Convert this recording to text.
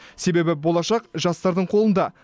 себебі болашақ жастардың қолында